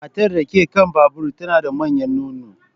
Matar da ke kan babur tana da manyan nono.